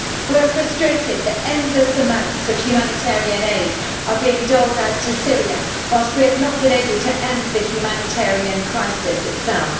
We are frustrated that endless amounts of humanitarian aid are being doled out to Syria, whilst we have not been able to end the humanitarian crisis itself.